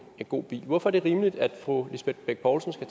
god bil hvorfor er det rimeligt at fru lisbeth bech poulsen skal